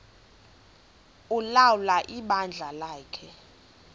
ulawula ibandla lakhe